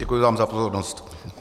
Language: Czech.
Děkuji vám za pozornost.